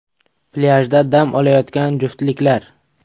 Plyajda dam olayotgan juftliklar.